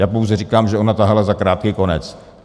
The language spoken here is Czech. Já pouze říkám, že ona tahala za krátký konec.